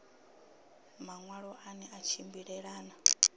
maṋwalo a ne a tshimbilelana